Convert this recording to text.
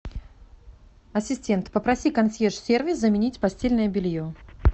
ассистент попроси консьерж сервис заменить постельное белье